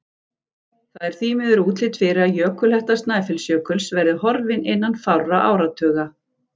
Það er því miður útlit fyrir að jökulhetta Snæfellsjökuls verði horfin innan fárra áratuga.